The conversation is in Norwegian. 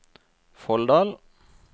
Folldal